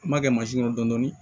N m'a kɛ kɔnɔ dɔni